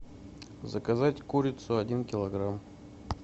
заказать курицу один килограмм